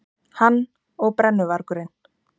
Hann og brennuvargurinn.